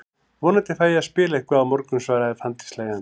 Vonandi fæ ég að spila eitthvað á morgun, svaraði Fanndís hlæjandi.